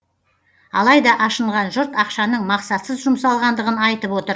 алайда ашынған жұрт ақшаның мақсатсыз жұмсалғандығын айтып отыр